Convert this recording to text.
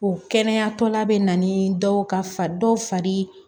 O kɛnɛyatɔla bɛ na ni dɔw ka fa dɔw fari